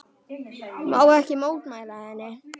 Má ekki mótmæla henni.